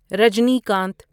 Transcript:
Rajinikanth